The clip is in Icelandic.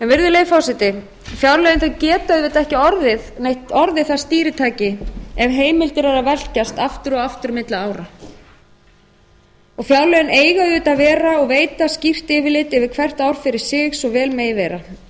virðulegi forseti fjárlögin geta auðvitað ekki orðið það stýritæki ef heimildir eru að velkjast aftur og aftur á milli ára fjárlögin eiga auðvitað að vera og veita skýrt yfirlit yfir hvert ár fyrir sig svo vel